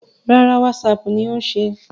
Rárá, Whatsapp ni ó ń ṣe.